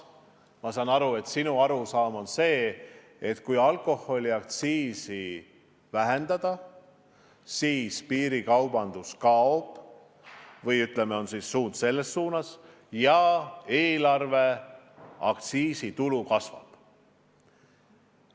Ma saan aru, et sinu arusaam on see, et kui alkoholiaktsiisi vähendada, siis hakkab piirikaubandus kaduma ja eelarve aktsiisitulu kasvab.